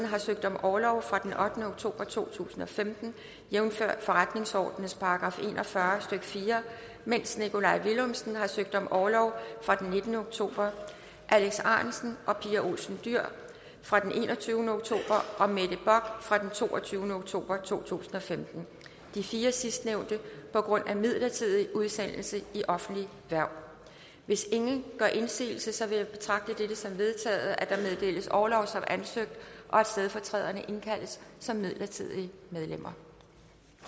har søgt om orlov fra den ottende oktober to tusind og femten jævnfør forretningsordenens § en og fyrre stykke fire mens nikolaj villumsen har søgt om orlov fra den nittende oktober alex ahrendtsen og pia olsen dyhr fra den enogtyvende oktober og mette bock fra den toogtyvende oktober to tusind og femten de fire sidstnævnte på grund af midlertidig udsendelse i offentligt hverv hvis ingen gør indsigelse vil jeg betragte det som vedtaget at der meddeles orlov som ansøgt og at stedfortræderne indkaldes som midlertidige medlemmer